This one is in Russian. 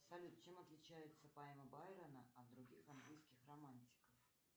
салют чем отличается поэма байрона от других английских романтиков